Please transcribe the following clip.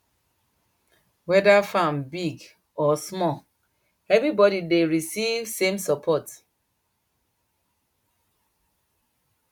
weda farm big or small everybody dey receive same support